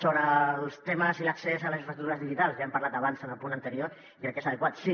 sobre els temes i l’accés a les infraestructures digitals ja n’hem parlat abans en el punt anterior i crec que és adequat sí